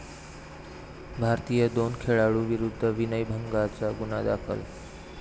भारतीय दोन खेळाडूंविरुद्ध विनयभंगाचा गुन्हा दाखल